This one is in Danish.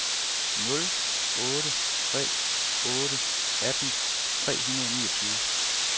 nul otte tre otte atten tre hundrede og niogtyve